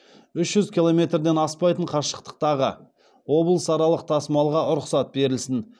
үш жүз километрден аспайтын қашықтықтағы облысаралық тасымалға рұқсат берілсін